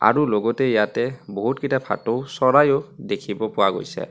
আৰু লগতে ইয়াতে বহুত কেইটা ভাঁটো চৰাইয়ো দেখিব পোৱা গৈছে।